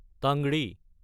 টাংৰী